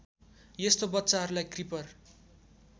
यस्तो बच्चाहरूलाई क्रिपर